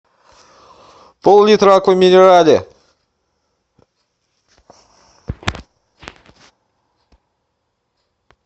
пол литра аква минерале